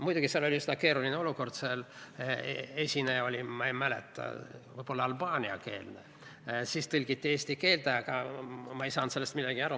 Muidugi, tookord oli üsna keeruline olukord: esineja oli, ma ei täpselt mäleta, vist albaaniakeelne ja see tõlgiti eesti keelde, aga ma ei saanud sellest midagi aru.